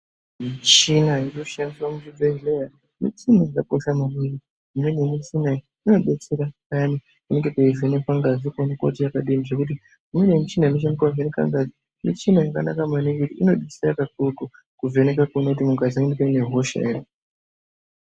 Michina inoshandiswa muchibhedhlera muchina yakakosha maningi imweni yemichina iyi inodetsera peyani panenge peivhenekwa ngazi kuona kuti yakadini zvekuti imweni yemichina inoshandiswa kuvheneka ngazi michinina yakanaka maningi nekuti inodetsera kuvheneka kuona kuti mukati mune hosha ere.